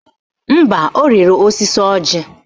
Mba, ọ rịrị osisi ọjị